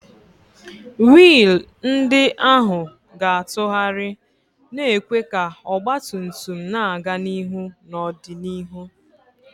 wiil ndị ahụ ga-atụgharị, na-ekwe ka ọgba tum tum na-aga n'ihu n'ọdịnihu.